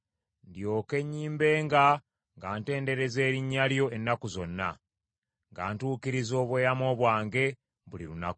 Ndyoke nnyimbenga nga ntendereza erinnya lyo ennaku zonna, nga ntuukiriza obweyamo bwange buli lunaku.